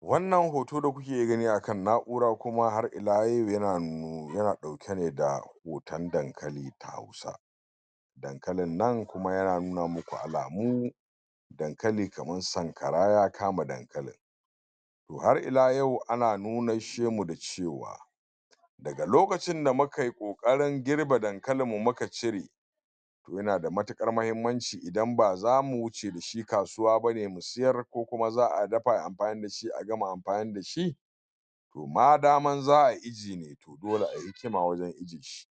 wannan hoto da kuke gani akan na'ura kuma har ila yau yan nu yana ɗauke ne da hoton dankali ta hausa dankalin nan kuma yana nuna muku alamu dankali kaman sankara ya kama dankalin toh har ila yau ana nunasshemu da cewa daga lokacin da muka yi ƙoƙarin girbe dankalinmu muka cire yana da matukar hahimmanci idan ba zamu wuce da shi kasuwa bane mu sayar ko kuma za'a yi anfani dashi a gama anfani dashi to ma daman za'a ijiye to dole ayi hikima wajen ajiyeshi